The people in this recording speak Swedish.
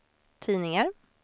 tidningar